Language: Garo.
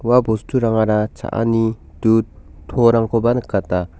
ua bosturangara cha·ani dud to-rangkoba nikata.